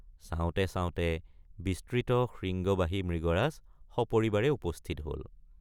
চাওঁতেচাওঁতে বিস্তৃত শৃঙ্গবাহী মৃগৰাজ সপৰিবাৰে উপস্থিত হল।